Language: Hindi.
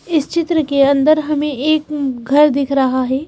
इस चित्र के अंदर हमें एक घर दिख रहा है।